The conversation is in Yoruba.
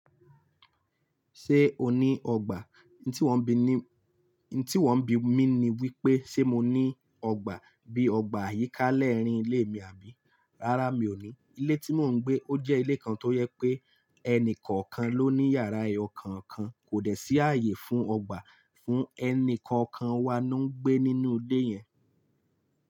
Ṣé o ní ọgbà? N tí wọ́ bi ní, n tí wọ́ bi mí ni wípé ṣe mo ní ọgbà bí i ọgbà àyíká lẹ́ẹ̀rín ilé mi àbí? Rárá mi ò ní. Ilé tí mò ń gbé ó jẹ́ ilé kan tó jẹ pé ẹni kọ̀ọ̀kan ló ní yàrá eyo kàn kan, kò dẹ̀ sí ààyè fún ọgbà fún ẹni kọ̀ọ̀kan wa ló ń gbé nínú ilé yẹn.